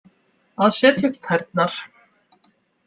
Að setja upp tærnar